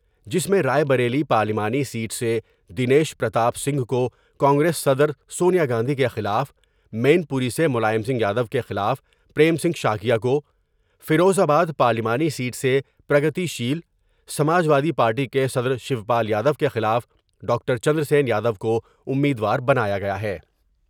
جس میں رائے بریلی پارلیمانی سیٹ سے دنیش پرتاپ سنگھ کو کانگریس صدر سونیا گاندھی کے خلاف ، مین پوری سے ملائم سنگھ یادو کے خلاف پریم سنگھ شاکیہ کو ، فیروز آباد پارلیمانی سیٹ سے Pragatisheel Samajwadi party کے صدرشیو پال یادو کے خلاف ڈاکٹر چندرسین یا دوکو امیدوار بنایا گیا ہے۔